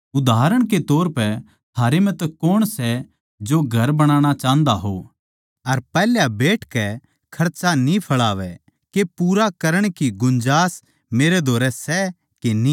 उदाहरण के तौर पै थारै म्ह तै कौण सै जो घर बनाणा चाह्न्दा हो अर पैहल्या बैठकै खर्चा न्ही फैळावै के पूरा करण की गुंजास मेरै धोरै सै के न्ही